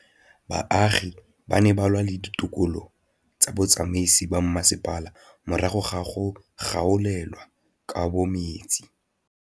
Baagi ba ne ba lwa le ditokolo tsa botsamaisi ba mmasepala morago ga go gaolelwa kabo metsi.